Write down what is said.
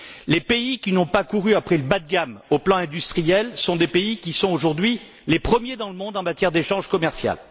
Les pays qui n'ont pas couru après le bas de gamme sur le plan industriel sont des pays qui figurent aujourd'hui parmi les premiers dans le monde en matière d'échanges commerciaux.